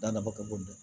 Da nafa ka bon